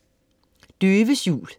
Døves jul